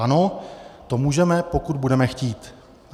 Ano, to můžeme, pokud budeme chtít.